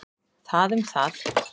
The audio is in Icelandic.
Það um það.